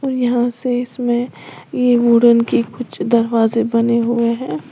यहां से इसमें ये वुडन की कुछ दरवाजे बने हुए हैं।